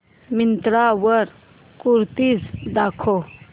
मिंत्रा वर कुर्तीझ दाखव